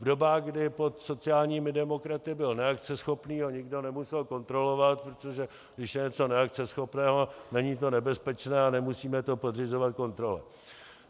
V dobách, kdy pod sociálními demokraty byl neakceschopný, ho nikdo nemusel kontrolovat, protože když je něco neakceschopné, není to nebezpečné a nemusíme to podřizovat kontrole.